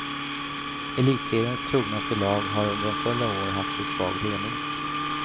Elitseriens trognaste lag har under en följd av år haft för svag ledning.